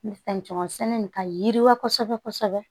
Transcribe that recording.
fɛn caman sɛnɛ nin ka yiriwa kosɛbɛ kosɛbɛ